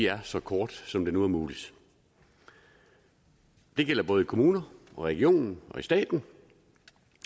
er så korte som det nu er muligt det gælder både i kommuner regioner og stat